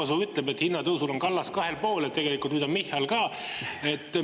Rahvasuu ütleb, et hinnatõusul on kallas kahel pool, et tegelikult nüüd on Michal ka.